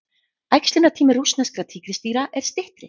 Æxlunartími rússneskra tígrisdýra er styttri.